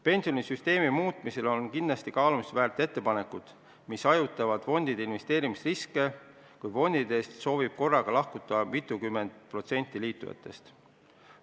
Pensionisüsteemi muutmisel on kindlasti kaalumist väärt ettepanekud, mille eesmärk on hajutada fondide investeerimisriske, kui fondidest soovib korraga lahkuda mitukümmend protsenti liitujatest.